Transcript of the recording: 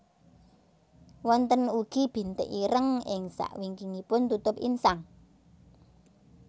Wonten ugi bintik ireng ing sakwingkingipun tutup insang